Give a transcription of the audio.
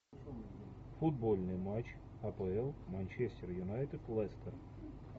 футбольный матч апл манчестер юнайтед лестер